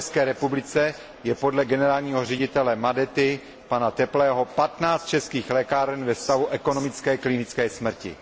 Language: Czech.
v České republice je podle generálního ředitele Madety pana Teplého 15 českých mlékáren ve stavu ekonomické klinické smrti.